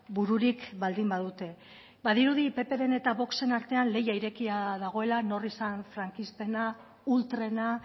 bururik baldin badute badirudi ppren eta voxen artean lehia irekia dagoela nor izan frankistena ultrena